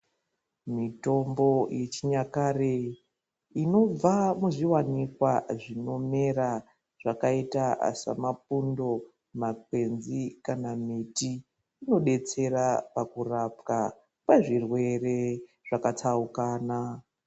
Mitombo yechinyakare inobva muzviwanikwa zvinomera zvakita semapundo makwenzi kana miti inodetsera pakurapwa kwezvirwere zvakatsaukana.